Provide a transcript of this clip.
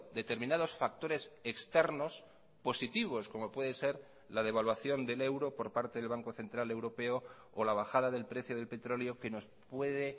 determinados factores externos positivos como puede ser la devaluación del euro por parte del banco central europeo o la bajada del precio del petróleo que nos puede